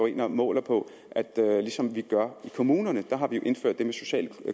ind og målte på ligesom vi gør i kommunerne der har vi jo indført det med sociale